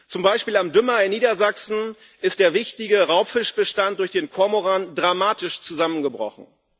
Zum Beispiel am Dümmer in Niedersachsen ist der wichtige Raubfischbestand durch den Kormoran dramatisch zusammengebrochen.